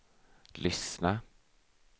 lyssna